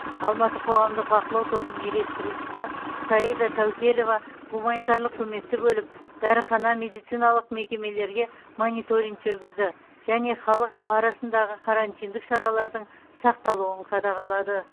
алматы қоғамдық бақылау тобының үйлестірушісі саида таукелева гуманитарлық көмекті бөліп дәріхана медициналық мекемелерге мониторинг жүргізді және халық арасындағы карантиндік шаралардың сақталуын қадағалады